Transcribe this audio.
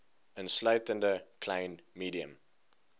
insluitende klein medium